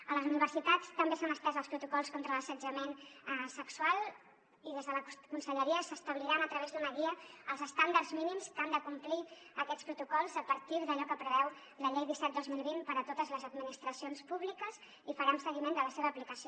a les universitats també s’han estès els protocols contra l’assetjament sexual i des de la conselleria s’establiran a través d’una guia els estàndards mínims que han de complir aquests protocols a partir d’allò que preveu la llei disset dos mil vint per a totes les administracions públiques i farem seguiment de la seva aplicació